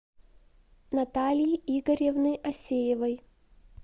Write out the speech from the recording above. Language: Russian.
натальи игоревны асеевой